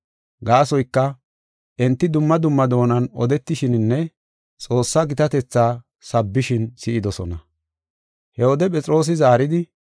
Gaasoyka, enti dumma dumma doonan odetishininne Xoossa gitatetha sabbishin si7idosona. He wode Phexroosi zaaridi,